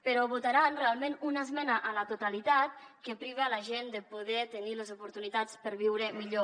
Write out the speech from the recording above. però votaran realment una esmena a la totalitat que priva la gent de poder tenir les oportunitats per viure millor